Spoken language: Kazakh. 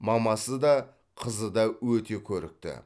мамасы да қызы да өте көрікті